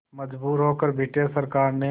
मजबूर होकर ब्रिटिश सरकार ने